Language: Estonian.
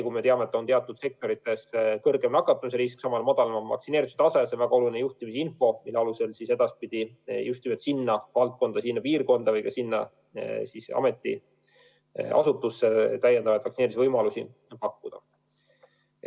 Kui me teame, et teatud sektorites on suurem nakatumise risk ja samal ajal madalam vaktsineerituse tase, siis on see väga oluline juhtimisinfo, mille alusel edaspidi just nimelt sinna valdkonda, sinna piirkonda või sellesse ametiasutusse täiendavaid vaktsineerimisvõimalusi pakkuda.